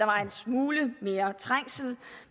var en smule mere trængsel